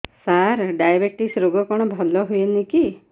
ସାର diabetes ରୋଗ କଣ ଭଲ ହୁଏନି କି